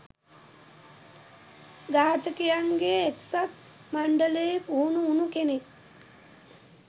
ඝාතකයින්ගේ එක්සත් මණ්ඩලයේ පුහුණු උණු කෙනෙක්.